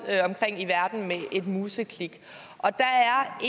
omkring i verden med et museklik og der er